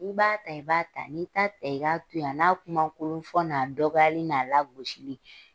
N b'a ta, i b'a ta, ni t'a ta i ka to yen, a n'a kuma kolon fɔ, n'a dɔgɔyali n'a lagosili